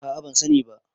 a a ban sani ba